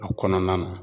A kɔnɔna na